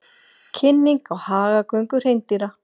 Kynning á hagagöngu hreindýra